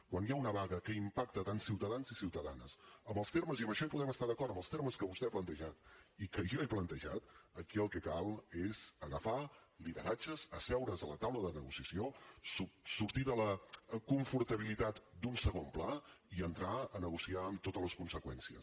quan hi ha una vaga que impacta tant ciutadans i ciutadanes amb els termes i amb això hi podem estar d’acord que vostè ha plantejat i que jo he plantejat aquí el que cal és agafar lideratges asseure’s a la taula de negociació sortir de la confortabilitat d’un segon pla i entrar a negociar amb totes les conseqüències